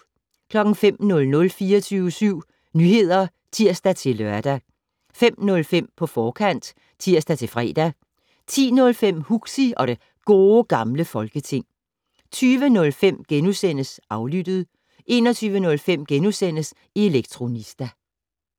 05:00: 24syv Nyheder (tir-lør) 05:05: På forkant (tir-fre) 10:05: Huxi og det Gode Gamle Folketing 20:05: Aflyttet * 21:05: Elektronista *